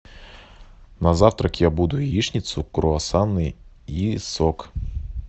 на завтрак я буду яичницу круассаны и сок